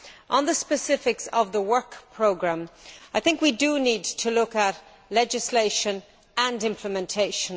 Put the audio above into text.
On the specifics of the work programme, I think we do need to look at legislation and implementation.